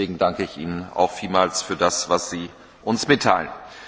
Deswegen danke ich Ihnen auch vielmals für das, was Sie uns mitteilen.